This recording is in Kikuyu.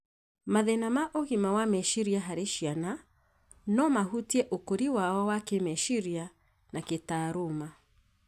Mathĩna ma ũgima wa meciria harĩ ciana no mahutie ũkũri wao wa kĩĩmeciria na kĩtaaruma.